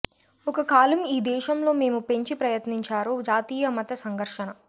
ఒక కాలం ఈ దేశం లో మేము పెంచి ప్రయత్నించారు జాతీయ మత సంఘర్షణ